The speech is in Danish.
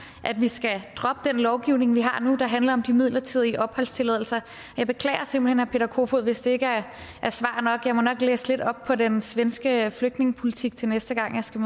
at vi skal droppe den lovgivning vi har nu der handler om de midlertidige opholdstilladelser jeg beklager simpelt hen herre peter kofod hvis det ikke er svar nok jeg må nok læse lidt op på den svenske flygtningepolitik til næste gang jeg skal